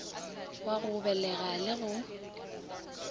wa go begela le go